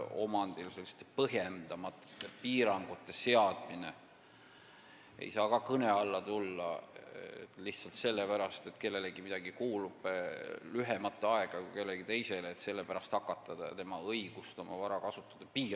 Omandile põhjendamatute piirangute seadmine ei saa kõne alla tulla sellepärast, et kellelegi kuulub midagi lühemat aega kui kellelegi teisele, st lihtsalt sellepärast ei tohi hakata piirama kellegi õigust oma vara kasutada.